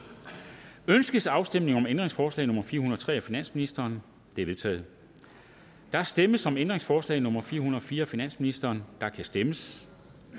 ønskes afstemning om ændringsforslag nummer fire hundrede og tre af finansministeren det er vedtaget der stemmes om ændringsforslag nummer fire hundrede og fire af finansministeren og der kan stemmes